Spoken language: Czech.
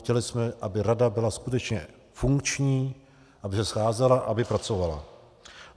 Chtěli jsme, aby rada byla skutečně funkční, aby se scházela, aby pracovala.